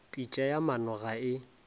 pitša ya maano ga e